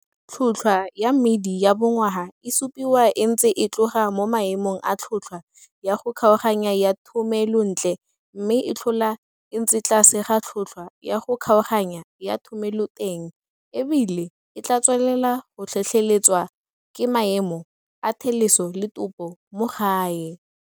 Tlhotlhwa ya mmidi ya bongwaga e supiwa e ntse e tloga mo maemong a tlhotlhwa ya go kgaoganya ya thomelontle mme e tlhola e ntse tlase ga tlhotlhwa ya go kgaoganya ya thomeloteng e bile e tlaa tswelela go tlhotlheletswa ke maemo a theleso le topo mo gae.